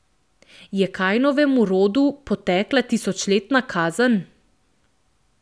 Je Kajnovemu rodu potekla tisočletna kazen?